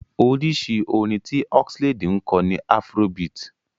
Oríṣi orin tí Oxlade ń kọ ni afrobeat.